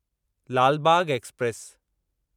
Lal Bagh express